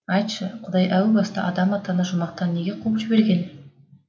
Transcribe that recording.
айтшы құдай әу баста адам атаны жұмақтан неге қуып жіберген